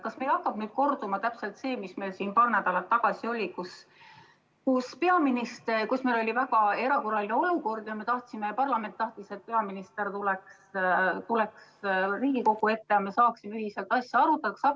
Kas meil hakkabki nüüd korduma täpselt see olukord, mis meil paar nädalat tagasi oli, kus meil oli väga erakorraline olukord ja parlament tahtis, et peaminister tuleks Riigikogu ette ja me saaksime ühiselt asja arutada?